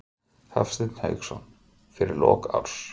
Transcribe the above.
Hafsteinn Hauksson: Fyrir lok árs?